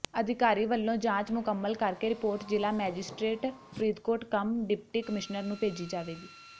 ਅਧਿਕਾਰੀ ਵੱਲੋਂ ਜਾਂਚ ਮੁਕੰਮਲ ਕਰਕੇ ਰਿਪੋਰਟ ਜ਼ਿਲ੍ਹਾ magistrate Faridkot cum deputy commissioner ਨੂੰ ਭੇਜੀ ਜਾਵੇਗੀ